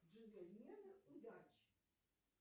джентльмены удачи